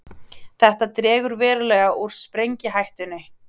Þetta dregur verulega úr sprengihættunni.